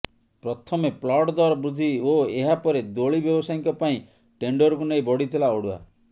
ପ୍ରଥମେ ପ୍ଲଟ ଦର ବୃଦ୍ଧି ଓ ଏହା ପରେ ଦୋଳି ବ୍ୟବସାୟୀଙ୍କ ପାଇଁ ଟେଣ୍ଡରକୁ ନେଇ ବଢିଥିଲା ଅଡ଼ୁଆ